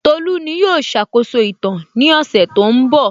Tolú ní yóò ṣàkóso ìtàn ní ọ̀sẹ̀ tó ń bọ̀